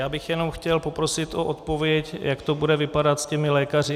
Já bych jenom chtěl poprosit o odpověď, jak to bude vypadat s těmi lékaři.